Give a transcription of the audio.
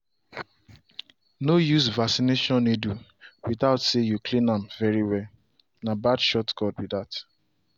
no use vaccination needle without say you clean am very well- na bad shortcut be that.